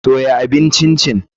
Soya abin Chin chin.